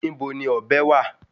Ibo ni ọ̀bẹ wà?